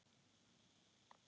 Svo að út fóru þau.